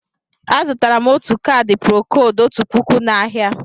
Azụtara m ọtu caadi procóóld ọtu pụkụ na áhiá.